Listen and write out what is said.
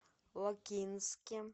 лакинске